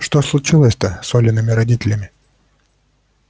что случилось-то с олиными родителями